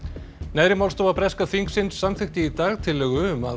neðri málstofa breska þingsins samþykkti í dag tillögu um að